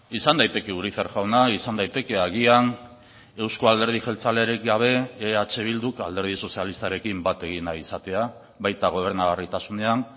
izan daiteke urizar jauna izan daiteke agian euzko alderdi jeltzalerik gabe eh bilduk alderdi sozialistarekin bat egin nahi izatea baita gobernagarritasunean